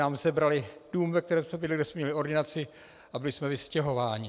Nám sebrali dům, ve kterém jsme bydleli, kde jsme měli ordinaci, a byli jsme vystěhováni.